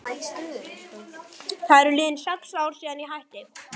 Það eru liðin sex ár síðan ég hætti.